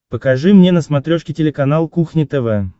покажи мне на смотрешке телеканал кухня тв